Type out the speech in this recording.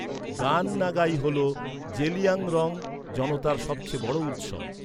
গান নাগাই হল জেলিয়াংরং জনতার সবচেয়ে বড় উৎসব।